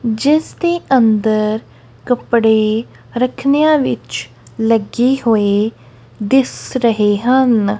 ਜਿਸ ਦੇ ਅੰਦਰ ਕੱਪੜੇ ਰੱਖਨੇਆਂ ਵਿੱਚ ਲੱਗੇ ਹੋਏ ਦਿਸ ਰਹੇ ਹਨ।